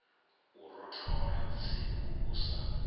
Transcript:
u rothola tsiku u sa